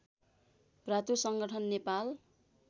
भातृ संगठन नेपाल